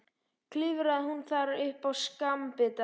Klifraði hún þar upp á skammbita.